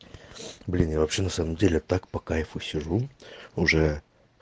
блин я вообще на самом деле так по кайфу сижу уже